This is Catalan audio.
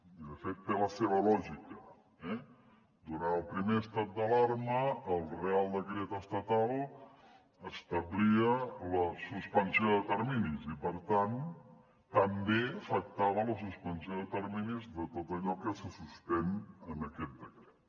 i de fet té la seva lògica eh durant el primer estat d’alarma el reial decret estatal establia la suspensió de terminis i per tant també afectava la suspensió de terminis de tot allò que se suspèn en aquest decret